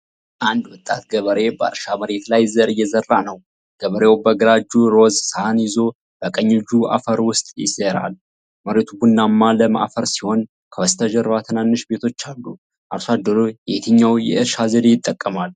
አንድ ወጣት ገበሬ በእርሻ መሬት ላይ ዘር እየዘራ ነው። ገበሬው በግራ እጁ ሮዝ ሳህን ይዞ በቀኝ እጁ አፈር ውስጥ ይዘራል። መሬቱ ቡናማና ለም አፈር ሲሆን ከበስተጀርባ ትናንሽ ቤቶች አሉ። አርሶ አደሩ የትኛውን የእርሻ ዘዴ ይጠቀማል?